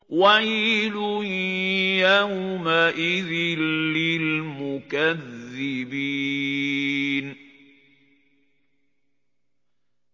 وَيْلٌ يَوْمَئِذٍ لِّلْمُكَذِّبِينَ